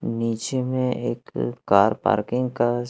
नीचे में एक कार पार्किंग का --